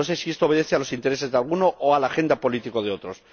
No sé si esto obedece a los intereses de algunos o a la agenda política de otros.